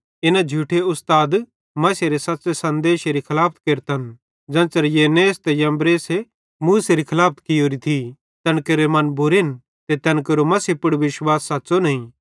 इना झूठे उस्ताद मसीहेरे सच़्च़े सन्देशेरे खलाफत केरतन ज़ेन्च़रे यन्नेस ते यम्ब्रेसे मूसेरी खलाफत कियोरी थी तैन केरे मन बुरेन ते तैन केरो मसीह पुड़ विश्वास सच़्च़ो नईं